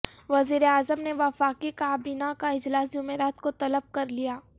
وزیر اعظم نے وفاقی کابینہ کا اجلاس جمعرات کو طلب کرلیا